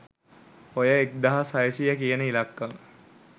ඔය එක්දාස් හයසීය කියන ඉලක්කම